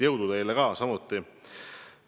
Jõudu teile samuti!